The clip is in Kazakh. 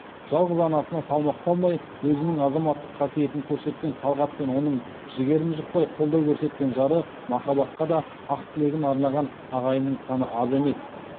жалғыз анасына салмақ салмай өзінің азаматтық қасиетін көрсеткен талғат пен оның жігерін жықпай қолдау көрсеткен жары махаббатқа да ақ тілегін арнаған ағайынның саны аз емес